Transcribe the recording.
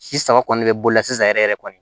Si saba kɔni bɛ bolola sisan yɛrɛ yɛrɛ kɔni